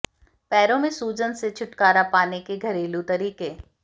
पैरों में सूजन से छुटकारा पाने के घरेलू तरीके